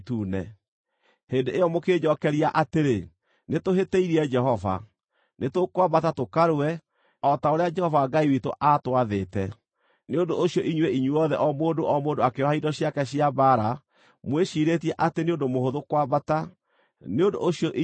Hĩndĩ ĩyo mũkĩnjookeria atĩrĩ, “Nĩtũhĩtĩirie Jehova. Nĩtũkwambata tũkarũe, o ta ũrĩa Jehova Ngai witũ aatwathĩte.” Nĩ ũndũ ũcio inyuĩ inyuothe o mũndũ o mũndũ akĩĩoha indo ciake cia mbaara, mwĩciirĩtie atĩ nĩ ũndũ mũhũthũ kwambata mũthiĩ bũrũri ũcio ũrĩ irĩma.